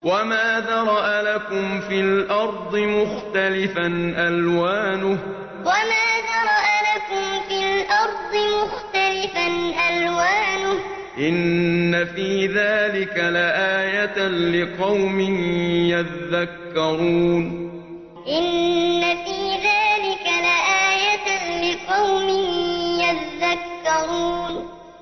وَمَا ذَرَأَ لَكُمْ فِي الْأَرْضِ مُخْتَلِفًا أَلْوَانُهُ ۗ إِنَّ فِي ذَٰلِكَ لَآيَةً لِّقَوْمٍ يَذَّكَّرُونَ وَمَا ذَرَأَ لَكُمْ فِي الْأَرْضِ مُخْتَلِفًا أَلْوَانُهُ ۗ إِنَّ فِي ذَٰلِكَ لَآيَةً لِّقَوْمٍ يَذَّكَّرُونَ